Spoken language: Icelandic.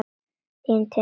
Þín Tinna og Þór.